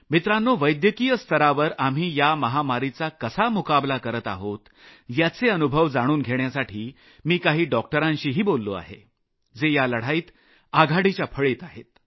मित्रांनो वैद्यकीय स्तरावर आम्ही या महामारीचा कसा मुकाबला करत आहोत याचे अनुभव जाणून घेण्यासाठी मी काही डॉक्टरांशीही बोललो आहे जे या लढाईत आघाडीच्या फळीत आहेत